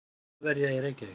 Þjóðverja í Reykjavík.